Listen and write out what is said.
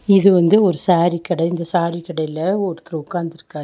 இது வந்து ஒரு சேரி கடை இந்த சேரி கடைல ஒருத்தர் உட்காந்துருக்கார்.